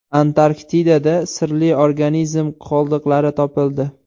Antarktidada sirli organizm qoldiqlari topildi.